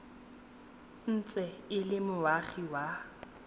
ntse e le moagi wa